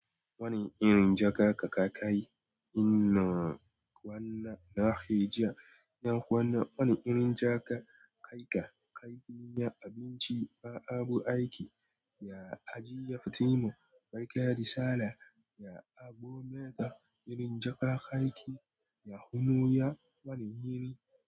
Wani irin jaka ka ka yi? Ina kwana na heja. Na kwana wani irin jaka kaika yi na abinci ba abu aiki. Ya ajiye Fatima barka Risala ya agometa irin jaka ka yi ya humu ya wane iri.